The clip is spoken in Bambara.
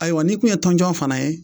Ayiwa n'i tun ye tɔnjɔn fana ye